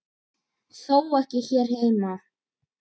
Þó ekki hér heima.